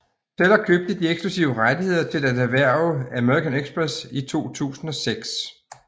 Teller købte de eksklusive rettigheder til at erhverve American Express i 2006